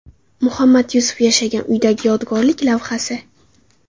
Muhammad Yusuf yashagan uydagi yodgorlik lavhasi.